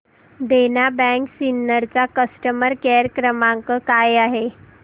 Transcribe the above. देना bank Sinnar चा customer care क्रमांक काय आहे